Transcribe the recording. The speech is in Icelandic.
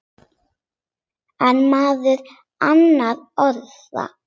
En meðal annarra orða.